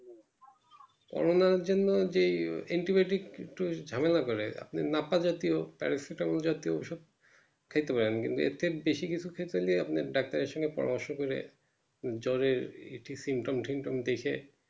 corona এর জন্য যে antibiotic একটু ঝামেলা করে আপনি নাতা জাতিও paracetamol জাতি খেতে পারেন কিন্তু এর থেকে বাসি কিছু খেতে হলে আপনাকে doctor এর সাথে পরামর্শ করে জ্বরের ইটি symptom ঠিমতম দেখে